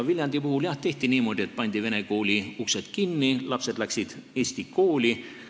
Viljandis, jah, tehti niimoodi, et pandi vene kooli uksed kinni, lapsed läksid eesti kooli.